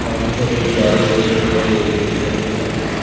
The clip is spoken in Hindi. सामने की ओर एक गाड़ी खड़ी दिखाई दे रही जो ब्लैक कलर की गाड़ी खड़ी--